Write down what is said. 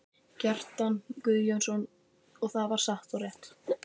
Kjartan Guðjónsson, og það var satt og rétt.